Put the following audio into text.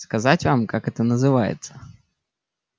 сказать вам как это называется